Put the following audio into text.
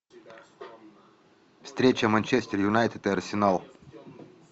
встреча манчестер юнайтед и арсенал